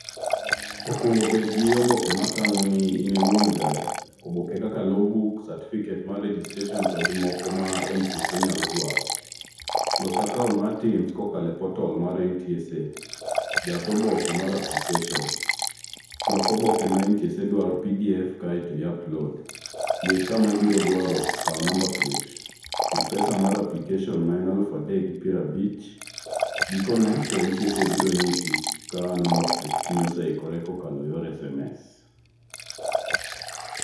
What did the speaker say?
Okuongo bedgi oboke matang'oni inie wuon [csgari. Oboke kaka logbook certificate mar registration togi moko ma ntsa nyalo dwaro los account mar teams kokalo e portal mar ntsa. Jas oboke mar application lok oboke ma ntsa dwaro e pdf kaeto i upload yier kama ibiro dwaro kawo number plate chul pesa mar application ma en alufu adek gi prabich gikone to ntsa biro nyisi ka number plateni oseikore kokalo e yor sms.